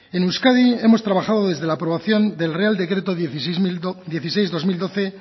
en euskadi hemos trabajado desde la aprobación del real decreto dieciséis barra dos mil doce